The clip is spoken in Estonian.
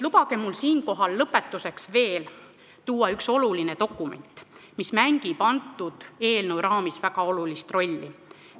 Lubage mul lõpetuseks tuua välja veel üks oluline dokument, mis mängib eelnõu raamis väga olulist rolli.